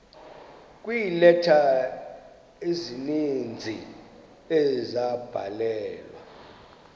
kweeleta ezininzi ezabhalelwa